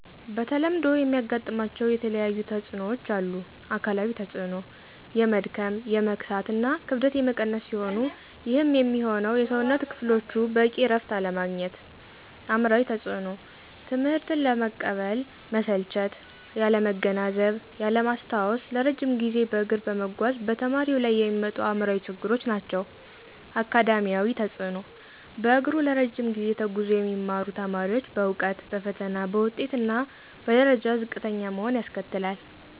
በተለምዶ የሚያጋጥማቸው የተለያየተፅኖዎች አሉ። -አካላዊ ተፅኖ፦ የመድከም፣ የመክሳት እና ክብደት የመቀነስ ሲሆኑ ይህም የሚሆነው የሠውነት ክፍሎቹ በቂ እረፍት አለማግኘት። -አእምሯዊ ተፅኖ፦ ትምህትን አለመቀበል፣ መሰልቸት፣ ያለማገናዘብ፣ ያለማስታወስ ለረጅም ጊዜ በእግር በመጓዝ በተማሪው ላይ የሚመጡ አእምሯዊ ችግሮች ናቸው። -አካዳሚያዊ ተፅኖ፦ በእግሩ ለረጅ ጊዜ ተጉዞ የሚማሩ ተማሪዎች በእውቀት፣ በፈተና፣ በውጤት እና በደረጃ ዝቅተኛ መሆን ያስከትላል